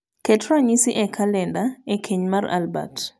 ket ranyisi e kalenda e keny mar albert